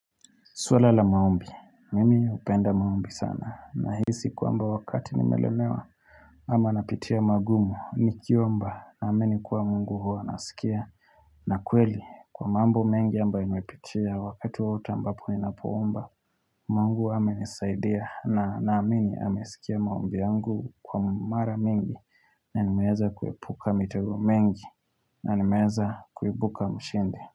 Swala la maombi, mimi hupenda maombi sana nahisi kwamba wakati nimelemewa ama napitia magumu nikiomba naamini kuwa mungu huwa anasikia na kweli kwa mambo mengi ambayo niwepitia wakati wowote ninapoomba Mungu amenisaidia na naamini amesikia maombi yangu kwa mara mingi na nimeeza kuepuka mitego mengi na nimeeza kuibuka mshindi.